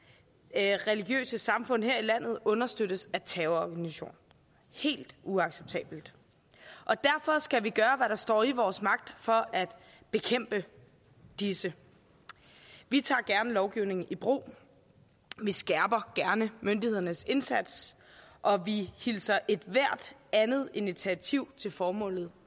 at religiøse samfund her i landet understøttes af terrororganisationer helt uacceptabelt og derfor skal vi gøre hvad der står i vores magt for at bekæmpe disse vi tager gerne lovgivningen i brug vi skærper gerne myndighedernes indsats og vi hilser ethvert andet initiativ til formålet